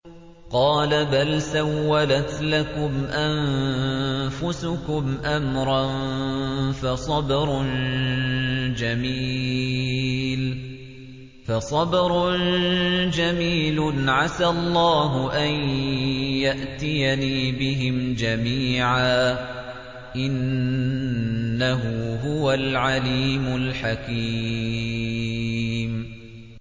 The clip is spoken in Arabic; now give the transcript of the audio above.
قَالَ بَلْ سَوَّلَتْ لَكُمْ أَنفُسُكُمْ أَمْرًا ۖ فَصَبْرٌ جَمِيلٌ ۖ عَسَى اللَّهُ أَن يَأْتِيَنِي بِهِمْ جَمِيعًا ۚ إِنَّهُ هُوَ الْعَلِيمُ الْحَكِيمُ